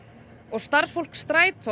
starfsfólk Strætó